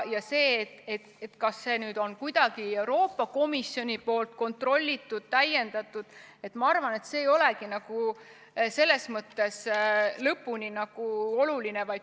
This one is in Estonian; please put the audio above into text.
Ma arvan, et see, kas Euroopa Komisjon seda kuidagi kontrollib või täiendab, ei olegi selles mõttes lõpuni oluline.